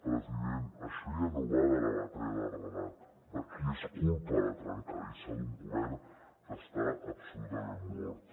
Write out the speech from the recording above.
president això ja no va de la batalla del relat de qui és culpa la trencadissa d’un govern que està absolutament mort